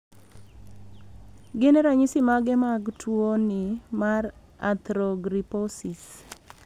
Gin ranyisi mage mar tuon ni mar Arthrogryposis